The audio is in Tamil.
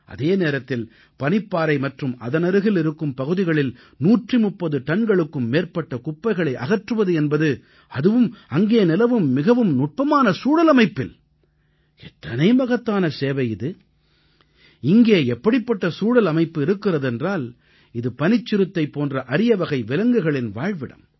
அதே நேரத்தில் பனிப்பாறை மற்றும் அதனருகில் இருக்கும் பகுதிகளில் 130 டன்களுக்கும் மேற்பட்ட குப்பைகளை அகற்றுவது என்பது அதுவும் அங்கே நிலவும் மிகவும் நுட்பமான சூழல் அமைப்பில் எத்தனை மகத்தான சேவை இது இங்கே எப்படிப்பட்ட சூழல் அமைப்பு இருக்கிறது என்றால் இது பனிச்சிறுத்தை போன்ற அரியவகை விலங்குகளின் வாழ்விடம்